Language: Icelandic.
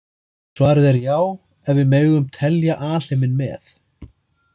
Svarið er já ef við megum telja alheiminn með.